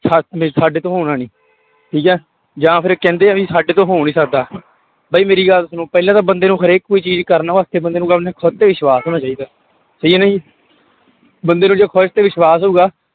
ਸਾ ਵੀ ਸਾਡੇ ਤੋਂ ਹੋਣਾ ਨੀ ਠੀਕ ਹੈ ਜਾਂ ਫਿਰ ਕਹਿੰਦੇ ਆ ਵੀ ਸਾਡੇ ਤੋਂ ਹੋ ਨੀ ਸਕਦਾ ਬਈ ਮੇਰੀ ਗੱਲ ਸੁਣੋ ਪਹਿਲਾਂ ਤਾਂ ਬੰਦੇ ਨੂੰ ਹਰੇਕ ਕੋਈ ਚੀਜ਼ ਕਰਨ ਵਾਸਤੇ ਬੰਦੇ ਨੂੰ ਆਪਣੇ ਖੁੱਦ ਤੇ ਵਿਸ਼ਵਾਸ਼ ਹੋਣਾ ਚਾਹੀਦਾ ਹੈ ਬੰਦੇ ਨੂੰ ਜੇ ਖੁੱਦ ਤੇ ਵਿਸ਼ਵਾਸ਼ ਹੋਊਗਾ